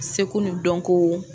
Seko ni dɔnko